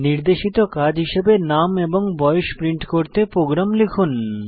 নির্দেশিত কাজ হিসাবে নাম এবং বয়স প্রিন্ট করতে প্রোগ্রাম লিখুন